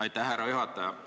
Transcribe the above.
Aitäh, härra juhataja!